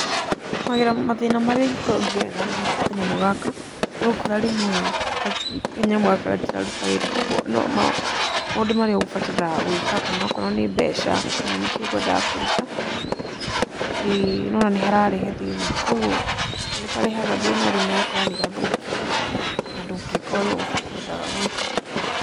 Mathĩna marĩa ingĩkorwo ngĩgerera ngĩhũthĩra kanyamũ gaka, nĩ ũgũkora rĩmwe kanyamũ gaka gatiraruta wĩra kũguo maũndũ marĩa ũgũbatara gũĩka kana okorwo nĩ mbeca, kana nĩ kĩ ũkwendaga kũruta, nĩ ũrona nĩ hararehe thĩna kũgũo nĩ harehaga thĩna rĩmwe ũgakora nĩ gathũkire na ndũngĩka ũria ũkwendaga gwĩka.